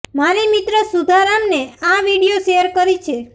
મારી મિત્ર સુધા રામને આ વિડિઓ શેર કરી છે